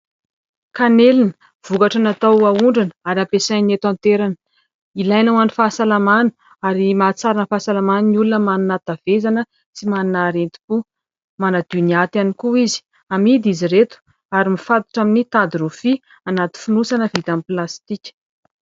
Kanelina, vokatra natao ahondrana ary ampiasain'ny eto an-toerana. Ilaina ho an'ny fahasalamana ary mahatsara ny fahasalaman'ny olona manana hatavezana sy manana aretim-po. Manadio ny aty ihany koa izy. Amidy izy ireto ary mifatotra amin'ny tady rofia anaty fonosana vita amin'ny plastika.